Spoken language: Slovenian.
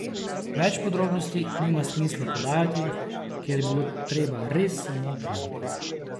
Več podrobnosti nima smisla podajati, ker je bilo treba res samo opraviti.